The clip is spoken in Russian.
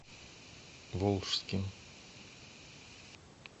волжским